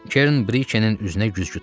Kern Brikenin üzünə güzgü tutdu.